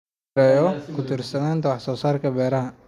in la yareeyo ku tiirsanaanta wax soo saarka beeraha.